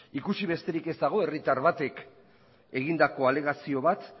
ikusi besterik ez dago herritar batek egindako alegazio bat